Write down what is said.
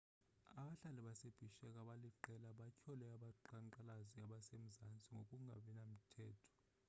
abahlali base-bishek abaliqela batyhole abaqhankqalazi basemzansi ngokungabinamthetho